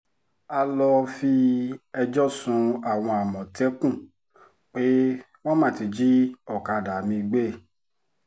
a lọ́ọ́ fi ẹjọ́ sun àwọn àmọ̀tẹ́kùn pé wọ́n má ti jí ọ̀kadà mi gbé